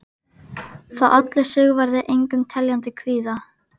Það olli Sigvarði engum teljandi kvíða.